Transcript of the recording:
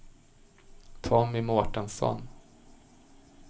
Tommy Mårtensson